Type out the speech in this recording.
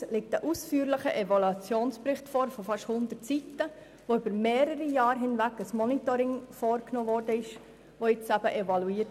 Erstens liegt ein ausführlicher Evaluationsbericht von beinahe 100 Seiten vor, der auf einem mehrjährigen Monitoring basiert.